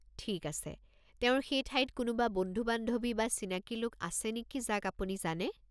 ঠিক আছে, তেওঁৰ সেই ঠাইত কোনোবা বন্ধু-বান্ধৱী বা চিনাকি লোক আছে নেকি যাক আপুনি জানে?